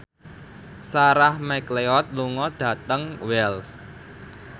Sarah McLeod lunga dhateng Wells